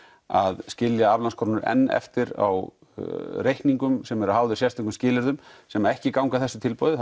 að skilja aflandskrónur enn eftir á reikningum sem eru háðir sérstökum skilyrðum sem ekki ganga að þessu tilboði